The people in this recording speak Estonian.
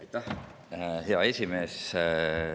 Aitäh, hea esimees!